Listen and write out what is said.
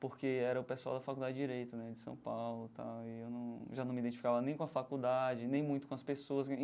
porque era o pessoal da Faculdade de Direito né de São Paulo tal, e eu num já não me identificava nem com a faculdade, nem muito com as pessoas.